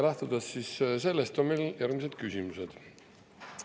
Lähtudes sellest on meil järgmised küsimused.